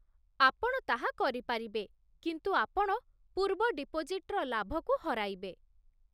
ଆପଣ ତାହା କରିପାରିବେ, କିନ୍ତୁ ଆପଣ ପୂର୍ବ ଡିପୋଜିଟ୍‌ର ଲାଭକୁ ହରାଇବେ